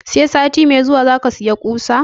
Sai sati mai zuwa zaka saya ƙusa?